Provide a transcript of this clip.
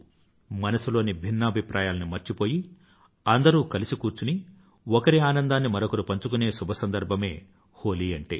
మనసులోని భిన్నాభిప్రాయాలన్నీ మర్చిపోయి అందరూ కలిసి కూర్చుని ఒకరి ఆనందాన్ని మరొకరు పంచుకునే శుభసందర్భం హోలీ అంటే